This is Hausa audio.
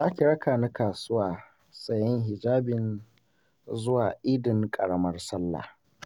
Za ki rakani kasuwa sayen hijabin zuwa Idin ƙaramar Sallah.